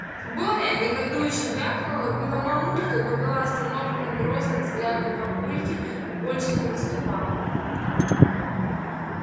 боря негодующе вякнула было мамулька но была остановлена грозным взглядом папульки больше не выступала